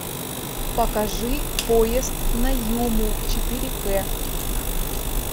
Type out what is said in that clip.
покажи поезд на юму четыре к